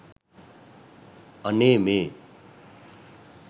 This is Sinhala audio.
අනේ මේ